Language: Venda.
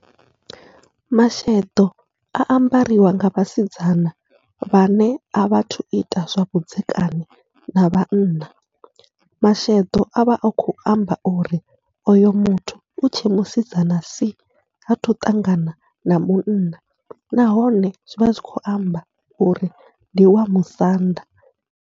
Masheḓo a ambariwa nga vhasidzana vhane a vhathu ita zwavhudzekani na vhanna, masheḓo avha a khou a amba uri oyo muthu utshe musidzana si hathu ṱangana na munna, nahone zwivha zwi khou amba uri ndi wa musanda.